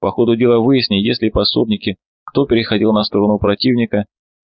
по ходу дела выясни есть ли пособники кто переходил на сторону противника